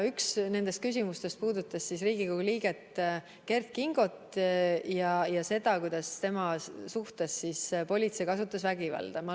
Üks nendest küsimustest puudutas Riigikogu liiget Kert Kingot ja seda, kuidas politsei kasutas tema suhtes vägivalda.